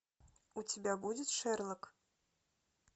у тебя будет шерлок